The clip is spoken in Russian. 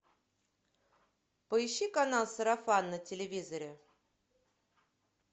поищи канал сарафан на телевизоре